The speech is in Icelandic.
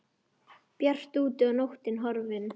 Bjart úti og nóttin horfin.